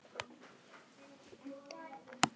Vaka, hvaða dagur er í dag?